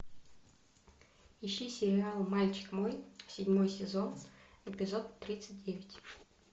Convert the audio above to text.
ищи сериал мальчик мой седьмой сезон эпизод тридцать девять